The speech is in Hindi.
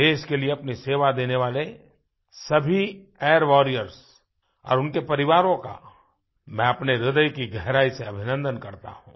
देश के लिए अपनी सेवा देने वाले सभी एयर वॉरियर्स और उनके परिवारों का मैं अपने ह्रदय की गहराई से अभिनंदन करता हूँ